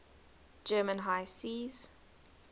german high seas